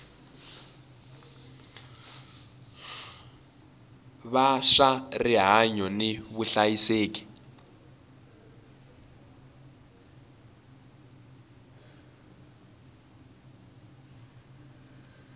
va swa rihanyu ni vuhlayiseki